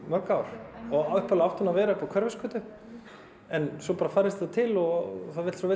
mörg ár upphaflega átti hún að vera á Hverfisgötu svo færðist til og það vill svo